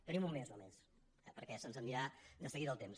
tenim un mes només eh perquè se’ns n’anirà de seguida el temps